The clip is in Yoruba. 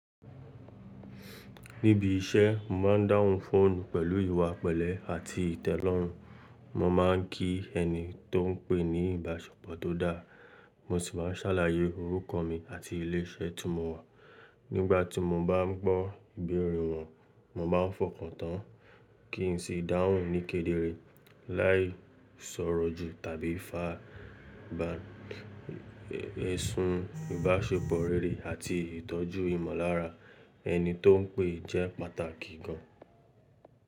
Níbi iṣẹ́, mo má ń dáhùn fóònù pẹ̀lú ìwà pẹ̀lẹ́ àti ìtẹ́lọ́rùn. Mo máa ń kí ẹni tó ń pè ní ìbáṣepọ̀ tó dáa, mo sì má ń sàlàyé orúkọ mi àti ilé iṣẹ́ tí mo wà. Nígbà tí mo bá ń gbọ́ ìbéèrè wọn, mo má ń fọkàn tán kí n sì dáhùn ní kédéré, láì sọ̀rọ̀ jù tàbí fá. Ẹ̀sùn ìbáṣepọ̀ réré àti ìtọ́jú ìmọ̀lára ẹni tó ń pè jẹ́ pàtàkì gàn.